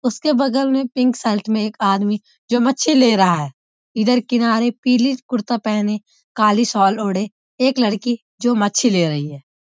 उसके बगल में पिंक शर्ट में एक आदमी जो मच्छी ले रहा है। इधर किनारे पीली कुर्ता पहने काली शॉल ओढ़े एक लड़की जो मच्छी ले रही है|